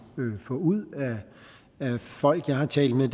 få ud af folk jeg har talt med